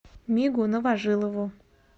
мигу новожилову